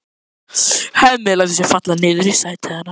Hemmi lætur sig falla niður í sætið hennar.